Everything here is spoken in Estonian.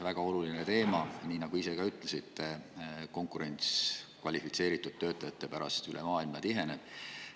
Väga oluline teema, nii nagu te ka ise ütlesite: konkurents kvalifitseeritud töötajate pärast üle maailma tiheneb.